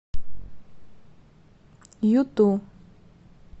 юту